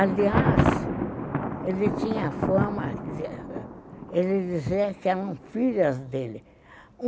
Aliás, ele tinha fama de dizer que eram filhas dele.